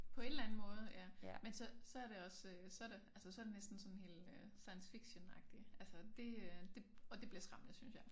På et eller anden måde ja men så så er det også øh så det altså så det næsten sådan helt øh science fictionagtigt altså det øh det og det bliver skræmmende synes jeg